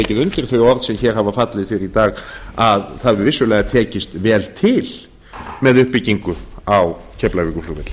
þau orð sem hér hafa fallið hér fyrr í dag að það hefur vissulega tekist vel til með uppbyggingu á keflavíkurflugvelli